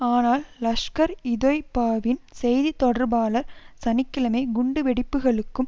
ஆனால் லஷ்கர்இதொய்பாவின் செய்தி தொடர்பாளர் சனி கிழமை குண்டு வெடிப்புக்களுக்கும்